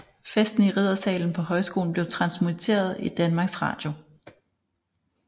Festen i riddersalen på højskolen blev transmitteret i Danmarks Radio